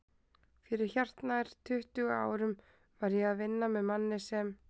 Fyrir hartnær tuttugu árum var ég að vinna með manni sem